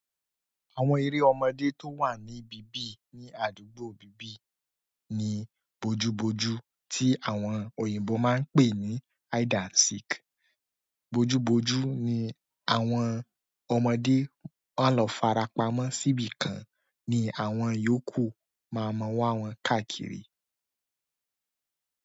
Àwọn eré ọmọdé tó wà ní bíbí ní àdúgbò bíbí ni boju boju tí àwọn òyìnbó máa ń pè ní hide and seek. Boju boju ni àwọn ọmọdé máa lọ farapa mọ́ síbí kan ni àwọn iyòókù máa mọ wa wọ́n káàkiri.